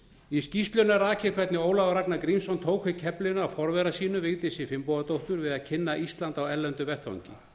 í skýrslunni er rakið hvernig ólafur ragnar grímsson tók við keflinu af forvera sínum vigdísi finnbogadóttur við að kynna ísland á erlendum vettvangi